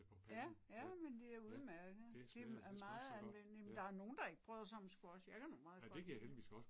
Ja, ja men det er udemærket. Det er meget anvendeligt, men der er nogen der ikke bryder sig om squash, jeg kan nu meget godt lide det